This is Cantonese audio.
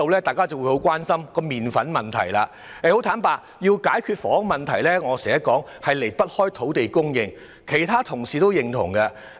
大家都很關心麪粉的問題，但要解決房屋問題，正如我經常說，根本離不開土地供應，我相信其他同事也認同這點。